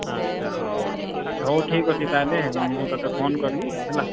ଆଛା ହଉ ଠିକ୍ ଅଛି। ହଉ ଠିକ୍ ଅଛି ତାହେଲେ ମୁଁ ତତେ phone କରିବି ହେଲା।